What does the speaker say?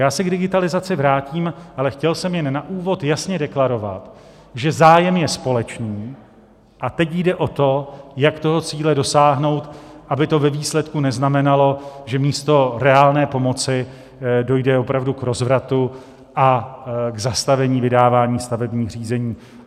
Já se k digitalizaci vrátím, ale chtěl jsem jen na úvod jasně deklarovat, že zájem je společný, a teď jde o to, jak toho cíle dosáhnout, aby to ve výsledku neznamenalo, že místo reálné pomoci dojde opravdu k rozvratu a k zastavení vydávání stavebních řízení.